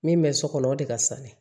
Min bɛ so kɔnɔ o de ka sa ne